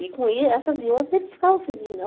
E com essas e outras, eles ficavam felizes.